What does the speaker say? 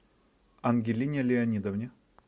ангелине леонидовне